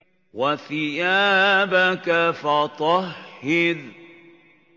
وَثِيَابَكَ فَطَهِّرْ